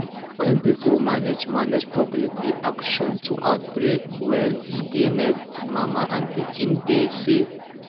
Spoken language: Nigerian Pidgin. when pipo manage manage public reaction to outbreak well e dey make mama and pikin dey save